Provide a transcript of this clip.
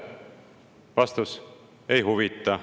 Vastus: ei huvita.